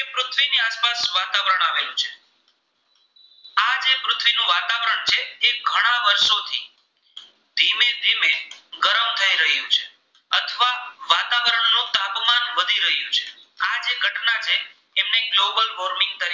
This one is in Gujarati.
ગ્લોબલ વોર્મિંગ તરીકે